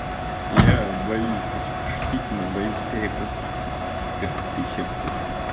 я боюсь хочу пошутить но боюсь перепас переступить черту